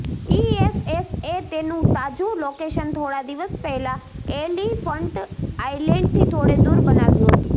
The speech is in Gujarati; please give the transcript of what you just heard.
ઇએસએસએ તેનું તાજું લોકેશન થોડા દિવસ પહેલા એલિફંટ આઇલેન્ડથી થોડે દુર બનાવ્યું હતું